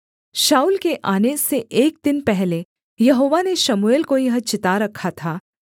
शाऊल के आने से एक दिन पहले यहोवा ने शमूएल को यह चिता रखा था